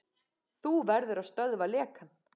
Þú verður að stöðva lekann.